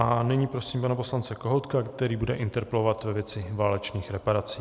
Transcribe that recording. A nyní prosím pana poslance Kohoutka, který bude interpelovat ve věci válečných reparací.